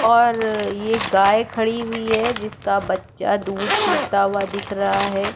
और ये गाय खड़ी हुई है जिसका बच्चा दूध पिता हुआ दिख रही है।